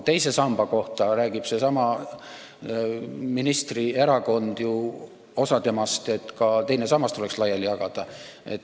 Teise samba kohta räägib seesama ministri erakond – vähemalt osa sellest –, et ka teine sammas tuleks laiali jagada.